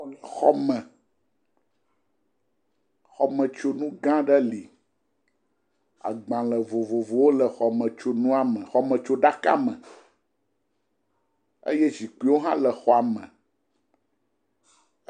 Xɔme. Xɔmetsonu gã aɖe li. Agbale vovovowo le xɔmetsonua me, xɔmetsoɖaka me eye zikpuiwo hã le xɔa me.